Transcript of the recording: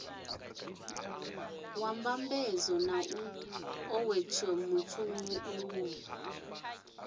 wa mbambadzo na nḓowetshumo lu